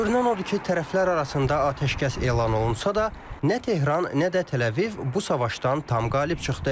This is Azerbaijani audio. Görünən odur ki, tərəflər arasında atəşkəs elan olunsa da, nə Tehran, nə də Təl-Əviv bu savaşdan tam qalib çıxdı.